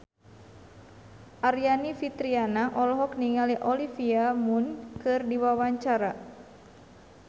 Aryani Fitriana olohok ningali Olivia Munn keur diwawancara